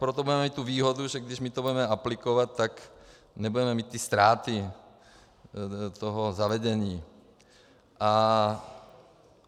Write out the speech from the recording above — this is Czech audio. Proto budeme mít tu výhodu, že když my to budeme aplikovat, tak nebudeme mít ty ztráty toho zavedení.